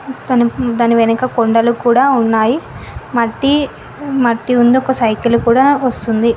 తన్ దాని వెనక కొండలు కూడా ఉన్నాయి మట్టి మట్టి ఉంది ఒక సైకిల్ కూడా వస్తుంది.